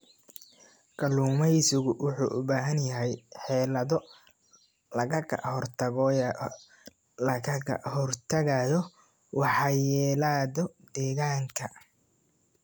Kalluumaysigu wuxuu u baahan yahay xeelado lagaga hortagayo waxyeelada deegaanka.